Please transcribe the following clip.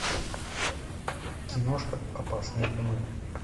киношка опасные умы